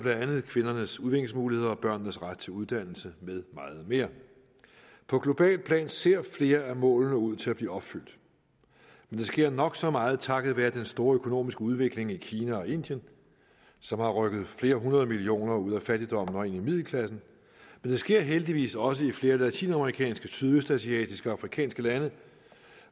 kvindernes udviklingsmuligheder og børnenes ret til uddannelse med meget mere på globalt plan ser flere af målene ud til at blive opfyldt men det sker nok så meget takket være den store økonomiske udvikling i kina og indien som har rykket flere hundrede millioner ud af fattigdommen og ind i middelklassen men det sker heldigvis også i flere latinamerikanske sydøstasiatiske og afrikanske lande